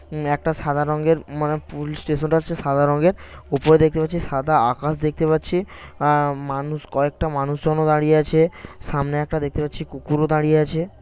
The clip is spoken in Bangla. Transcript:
ঊম একটা সাদা রঙের মানে পুলিশ স্টেশন -টা হচ্ছে সাদা রঙের উপরে দেখতে পাচ্ছি সাদা আকাশ দেখতে পাচ্ছি অ্যাঁ মানুষ কয়েকটা মানুষজনও দাঁড়িয়ে আছে সামনে একটা দেখতে পাচ্ছি কুকুরও দাঁড়িয়ে আছে ।